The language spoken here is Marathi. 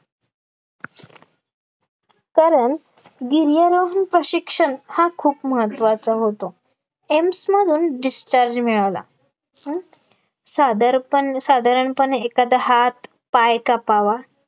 कारण गिर्यारोहण प्रशिक्षण हा खूप महत्त्वाचा होतो एम्स मधून discharge मिळाला, पण साधारपण साधारणपणे एखादा हात पाय कापावा